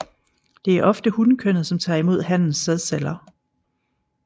Det er ofte hunkønnet som tager imod hannens sædceller